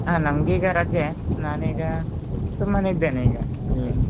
ಹಾ ನಂಗೆ ಈಗಾ ರಜೆ ನಾನೀಗ ಸುಮ್ಮನೆ ಇದ್ದೇನೆ ಈಗ ಹ್ಮ್.